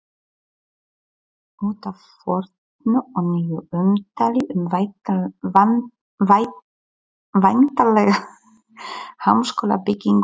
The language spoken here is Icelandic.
Út af fornu og nýju umtali um væntanlega háskólabyggingu í